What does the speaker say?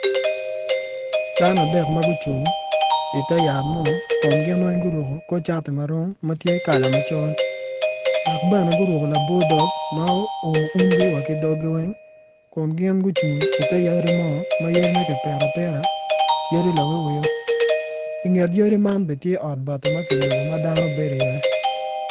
Dano adek ma gucung ite yat mo kun gin weny guruku kor cati marom ma tye kala macol dok bene guruku laboi dog ma oumu umugi wa ki doggi weng kun gin gucung i te yadi mo ma yadine ki pito abita yadi lawiwo inget yadi man bene tye ot bati ma kiyubu ma dano bedi iye